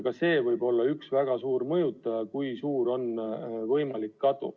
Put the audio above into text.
Ka see võib olla üks väga suur mõjutaja, kui suur on kadu.